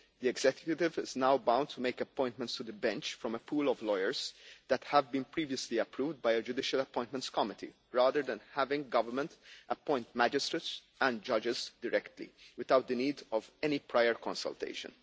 The executive is now bound to make appointments to the bench from a pool of lawyers that have been previously approved by a judicial appointments committee, rather than having government appoint magistrates and judges directly, without the need of any prior consultation.